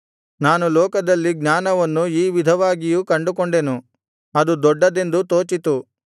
ನಾನು ಲೋಕದಲ್ಲಿ ಜ್ಞಾನವನ್ನು ಈ ವಿಧವಾಗಿಯೂ ಕಂಡುಕೊಂಡೆನು ಅದು ದೊಡ್ಡದೆಂದು ತೋಚಿತು